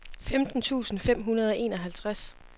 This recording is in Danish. femten tusind fem hundrede og enoghalvtreds